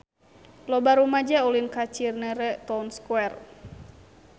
Loba rumaja ulin ka Cinere Town Square